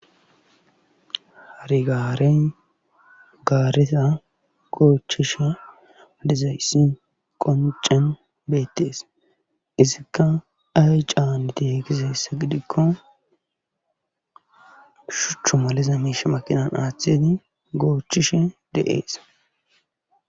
Rigaaren gaareta goochchisha lizayssi qoncen beettees izikka ay caaneti hekize sse gidikko shuchchu maliza miisha makinan aaththedi goochishe de'ees